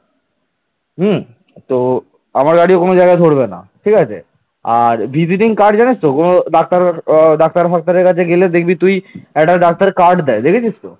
আর visiting card জানিস তো কোন ডাক্তার আহ ডাক্তারের ফাকতার কাছে দেখবি তুই একটা ডাক্তার card দেয় দেখেছিস তো